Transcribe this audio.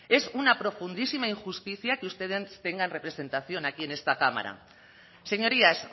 es una profundísima injusticia que ustedes tengan representación aquí en esta cámara señorías